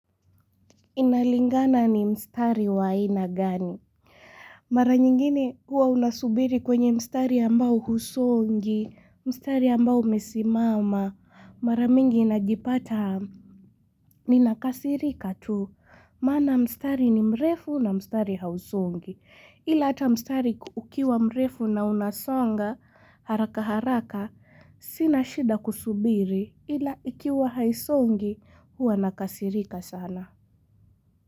Inalingana ni mstari wa aina gani? Mara nyingine huwa unasubiri kwenye mstari ambao husongi, mstari ambao umesimama, mara mingi inajipata ni nakasirika tu. Mana mstari ni mrefu na mstari hausongi, ila ata mstari ukiwa mrefu na unasonga haraka haraka, sina shida kusubiri ila ikiwa haisongi huwa nakasirika sana.